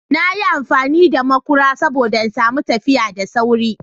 Na yi amfani da maƙura saboda ina son tafiya da sauri.